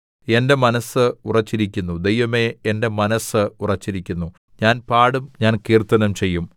എന്റെ മനസ്സ് ഉറച്ചിരിക്കുന്നു ദൈവമേ എന്റെ മനസ്സ് ഉറച്ചിരിക്കുന്നു ഞാൻ പാടും ഞാൻ കീർത്തനം ചെയ്യും